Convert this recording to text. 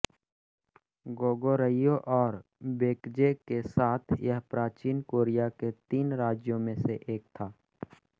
Goguryeo और Baekje के साथ यह प्राचीन कोरिया के तीन राज्यों में से एक था